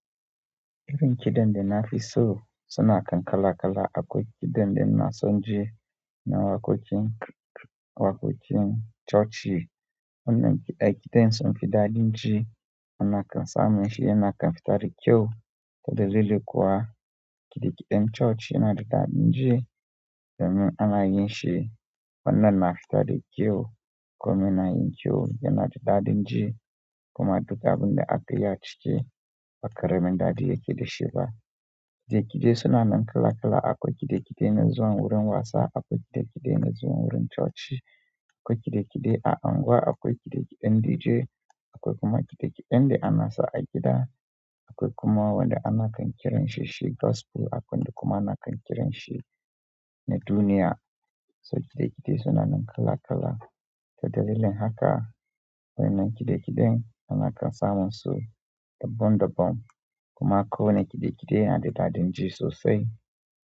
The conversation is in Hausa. Irin kiɗan dana fi so suna nan kala-kala akwai kiɗan da ina so ji na waƙoƙin, waƙoƙin coci. Wannan aikita yin son fidadi ji, ana kansa min shi yana kan fitari kyau. Ta dalilin kuwa, kiɗi kiden coc yana da daɗin ji domin ana yin shi wannan na fita da kyau. Kuma yana yin kyau yana da daɗin ji kuma duka wanda aka yi a ciki bakara min daɗi yake da shi ba. Kiɗe kiɗe suna nan kala kala. Akwai kidekide na zuwan wurin wasa, akwai kidekide na zuwan wurin coci, akwai kidekide a unguwa, akwai kidekiden dije, akwai kuma kidekiden da ana sa a gida, akwai kuma wanda ana kan kiran shi shi gospel, akwai kuma na kan kiran shi na duniya. So kidkide suna nan kala kala. Ta dalilin haka wai na kidekiden ana kansa min so dabbam dabbam. Kuma ko wane kidekide yana da daɗi ji sosai.